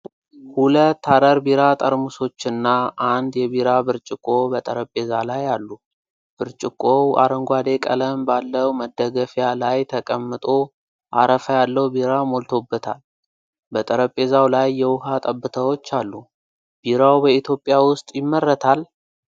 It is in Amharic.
ሁለት ሀረር ቢራ ጠርሙሶችና አንድ የቢራ ብርጭቆ በጠረጴዛ ላይ አሉ። ብርጭቆው አረንጓዴ ቀለም ባለው መደገፊያ ላይ ተቀምጦ አረፋ ያለው ቢራ ሞልቶበታል። በጠረጴዛው ላይ የውሃ ጠብታዎች አሉ። ቢራው በኢትዮጵያ ውስጥ ይመረታል?